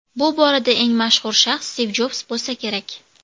Bu borada eng mashhur shaxs Stiv Jobs bo‘lsa kerak.